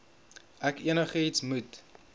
ek enigiets moet